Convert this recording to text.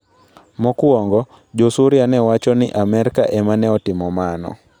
Mokwongo, Jo-Suria ne wacho ni Amerka ema ne otimo mano.